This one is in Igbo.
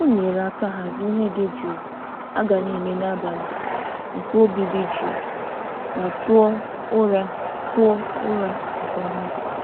O nyere aka hazie ihe dị jụụ a ga na-eme n'abalị nke obi dị jụụ ma tụọ ụra tụọ ụra nke ọma.